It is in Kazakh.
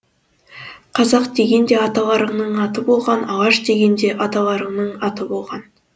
қазақ деген де аталарыңның аты болған алаш деген де аталарыңның аты болған